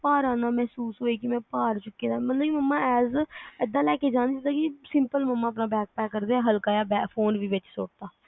ਭਾਰਾ ਨਾ ਮਹਿਸੂਸ ਹੋਏ ਕੇ ਮੈਂ ਭਾਰ ਚੁਕਿਆ ਆ ਬਲਕਿ ਮੰਮਾ as a ਇਹਦਾ ਲੈ ਕੇ ਜਾਣ ਜਿਹਦਾ ਕੇ simple ਮੰਮਾ ਆਪਣਾ bag pack ਕਰਦੇ ਆ ਹਲਕਾ ਜਾ ਫੋਨ ਵੀ ਵਿਚ ਸੁੱਟ ਤਾ